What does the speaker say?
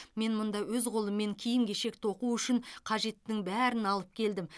мен мұнда өз қолыммен киім кешек тоқу үшін қажеттінің бәрін алып келдім